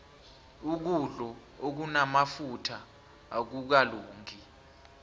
ukudlo okunamafutha akukalungi